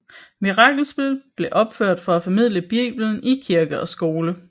Mirakelspil blev opført for at formidle Biblen i kirke og skole